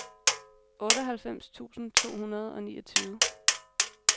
otteoghalvfems tusind to hundrede og niogtyve